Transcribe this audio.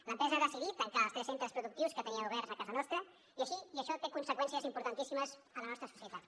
l’empresa ha decidit tancar els tres centres productius que tenia oberts a casa nostra i això té conseqüències importantíssimes en la nostra societat